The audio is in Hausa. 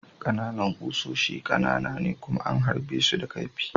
Ƙananan kusoshi ƙanana ne kuma an harbe su da kaifi.